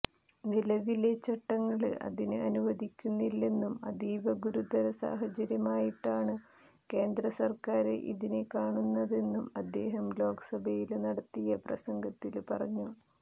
നിലവിലെ ചട്ടങ്ങള് അതിന് അനുവദിക്കുന്നില്ലെന്നും അതീവ ഗുരുതര സാഹചര്യമായിട്ടാണ് കേന്ദ്രസര്ക്കാര് ഇതിനെ കാണുന്നതെന്നും അദ്ദേഹം ലോക്സഭയില് നടത്തിയ പ്രസംഗത്തില് പറഞ്ഞു